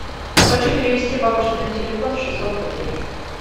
хочу перевести бабушке на телефон шестьсот рублей